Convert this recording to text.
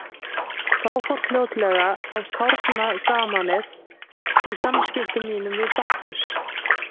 Þá fór fljótlega að kárna gamanið í samskiptum mínum við Bakkus.